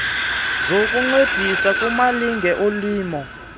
zokuncedisa kumalinge olimo